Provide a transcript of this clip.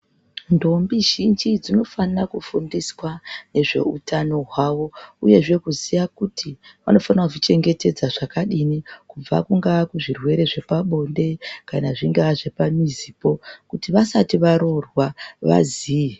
Ntombi zhinji dzinofanira kufundiswa nezveutano hwavo uyezve kuziya kuti vanofanira kuzvichengetedza zvakadini kubva kungaa kuzvirwere zvepabonde kana kuzvingaa zvepamizipo kuti vasati varoorwa vaziye.